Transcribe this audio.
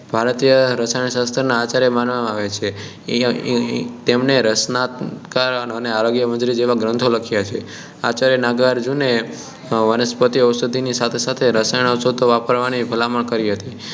ભારતીય રસાયણ શાસ્ત્ર નાં આચાર્ય માનવામાં આવે છે તેમણે રસરત્નાકર અને આરોગ્યમંજરી જેવા ઘણાં ગ્રંથો લખ્યા છે આચાર્ય નાગાર્જુને વનસ્પતિ ઔષધિ ની સાથે સાથે રાસાયણિક ઔષધિ વાપરવાની ભલામણ કરી હતી